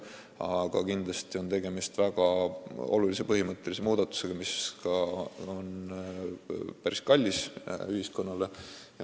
Aga tegemist on väga olulise põhimõttelise muudatusega, mis on ühiskonnale päris kallis.